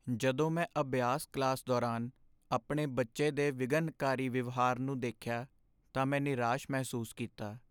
ਜਦੋਂ ਮੈਂ ਅਭਿਆਸ ਕਲਾਸ ਦੌਰਾਨ ਆਪਣੇ ਬੱਚੇ ਦੇ ਵਿਘਨਕਾਰੀ ਵਿਵਹਾਰ ਨੂੰ ਦੇਖਿਆ ਤਾਂ ਮੈਂ ਨਿਰਾਸ਼ ਮਹਿਸੂਸ ਕੀਤਾ।